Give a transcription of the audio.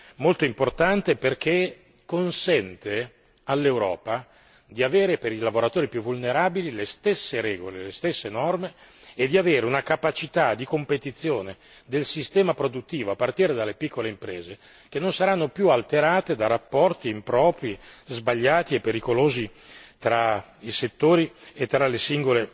Dunque si tratta di una soluzione, questa, molto importante perché consente all'Europa di avere per i lavoratori più vulnerabili le stesse regole e le stesse norme e di avere una capacità di competizione del sistema produttivo, a partire dalle piccole imprese, che non saranno più alterate da rapporti impropri, sbagliati e pericolosi